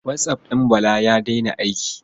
WhatsApp ɗin Bala ya daina aiki.